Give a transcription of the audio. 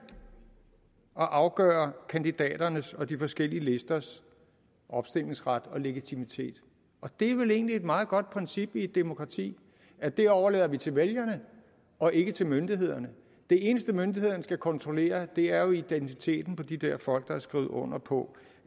at afgøre kandidaternes og de forskellige listers opstillingsret og legitimitet det er vel egentlig et meget godt princip i et demokrati at vi overlader det til vælgerne og ikke til myndighederne det eneste myndighederne skal kontrollere er jo identiteten på de der folk der har skrevet under på